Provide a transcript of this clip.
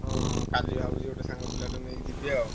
ହଁ ହଁ କାଲି ଭାବୁଛି ଗୋଟେ ସାଙ୍ଗ ପିଲାଟେକୁ ନେଇକି ଯିବି ଆଉ।